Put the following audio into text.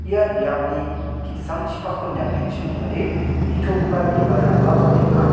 ia biapni ki·sangchipakko niatgenchim ong·ode nitogipa bibalrangba balenga.